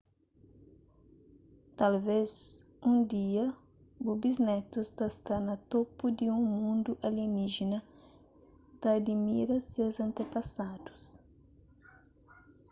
talvês un dia bu bisnetus ta sta na topu di un mundu alieníjena ta adimira ses antepasadus